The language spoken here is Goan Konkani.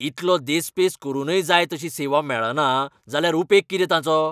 इतलो देस्पेस करूनय जाय तशी सेवा मेळना जाल्यार उपेग कितें ताचो?